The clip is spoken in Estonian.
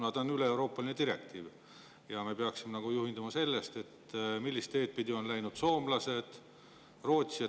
See on üleeuroopaline direktiiv ja me peaksime juhinduma sellest, millist teed on läinud soomlased, Rootsi.